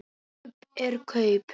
Kaup er kaup.